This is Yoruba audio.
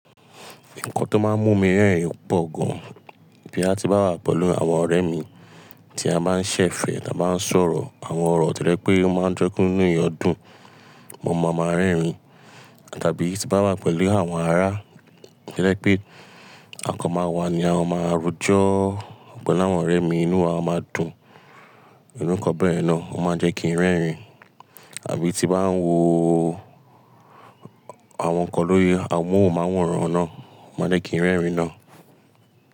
Nǹkan tó máa ń mú mi rẹ́rìn pọ̀ gan, boya ti n wá ti bá wà pẹ̀lú àwọn ọ̀rẹ́ mi tí a máa ń ṣẹ̀fẹ̀, tí a máa ń sọ̀rọ̀, àwọn ọ̀rọ̀ to je pé o máa ń ke ki inú eeyan dub, mo mọ̀ máa rẹ́rìn. Tàbí tí bá wà pẹ̀lú àwọn ará to je pé a kan máa wà ni a máa rojo, pelu ọ̀pọ̀ láwọn ọ̀rẹ́ mi inú wa máa dùn, iru nkan bẹ́ yen náà o máa jẹ́ kí n rẹ́rìn. Àbí tí bá ń wo àwọn nǹkan lórí amóhùnmáwòrán nàa, o máa jẹ́ kí n rẹ́rìn náà.